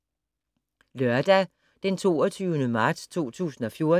Lørdag d. 22. marts 2014